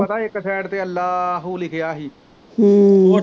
ਪਤਾ ਇੱਕ ਸਾਇਡ ਤੇ ਅੱਲ੍ਹਾ ਹੂ ਲਿਖਿਆ ਹੀ